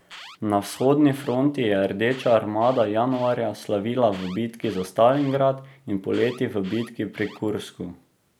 Na vzhodni fronti je Rdeča armada januarja slavila v bitki za Stalingrad in poleti v bitki pri Kursku.